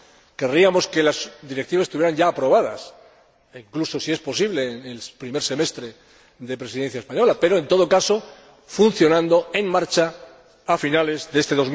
Querríamos que las Directivas estuvieran ya aprobadas, incluso, si es posible, en el primer semestre de la Presidencia española, pero, en todo caso, funcionando, en marcha, a finales de este